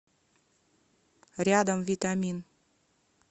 рядом витамин